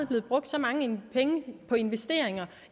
blevet brugt så mange penge på investeringer